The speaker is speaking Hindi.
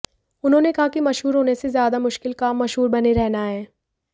उन्होंने कहा कि मशहूर होने से ज्यादा मुश्किल काम मशहूर बने रहना है